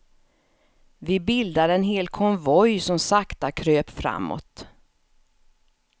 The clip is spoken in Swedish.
Vi bildade en hel konvoj som sakta kröp framåt.